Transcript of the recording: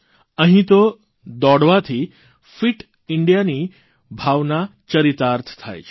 અહીં તો દોડવાથી ફીટ ઇન્ડિયાની ભાવના ચરિતાર્થ થાય છે